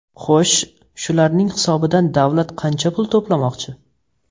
Xo‘sh, shularning hisobidan davlat qancha pul to‘plamoqchi?